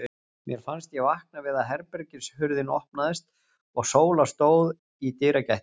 Mér fannst ég vakna við að herbergishurðin opnaðist og Sóla stóð í dyragættinni.